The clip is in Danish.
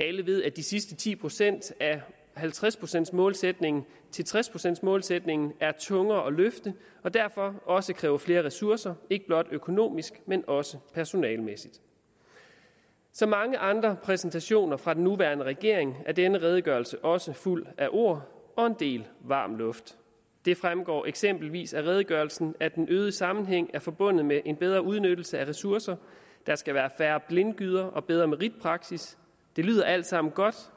alle ved at de sidste ti procent af halvtreds procents målsætningen til tres procents målsætningen er tungere at løfte og derfor også kræver flere ressourcer ikke blot økonomisk men også personalemæssigt som mange andre præsentationer fra den nuværende regering er denne redegørelse også fuld af ord og en del varm luft det fremgår eksempelvis af redegørelsen at den øgede sammenhæng er forbundet med en bedre udnyttelse af ressourcer der skal være færre blindgyder og bedre meritpraksis det lyder alt sammen godt